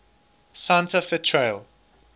santa fe trail